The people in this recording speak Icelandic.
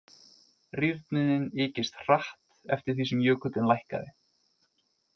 Rýrnunin ykist hratt eftir því sem jökullinn lækkaði.